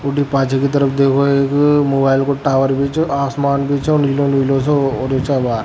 ऊटी पाछ को तरफ देखो एक मोबाइल को टावर भी छ आसमान भी छ और नीला नीला सो होरा है आबार।